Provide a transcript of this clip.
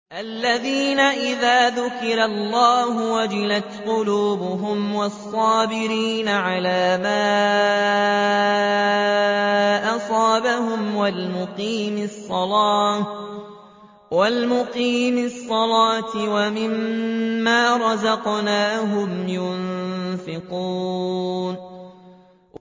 الَّذِينَ إِذَا ذُكِرَ اللَّهُ وَجِلَتْ قُلُوبُهُمْ وَالصَّابِرِينَ عَلَىٰ مَا أَصَابَهُمْ وَالْمُقِيمِي الصَّلَاةِ وَمِمَّا رَزَقْنَاهُمْ يُنفِقُونَ